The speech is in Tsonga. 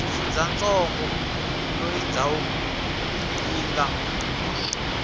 xifundzantsongo loyi ndhawu yi nga